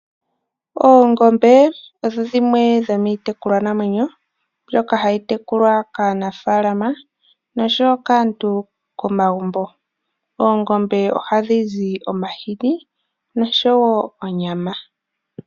Oongombe odho dhimwe dhomiitekulwa namwenyo mbyoka hayi tekulwa kaanafaalama noshowo kaantu komagumbo. Oongombe ohadhi zi omahini noshowo onyama.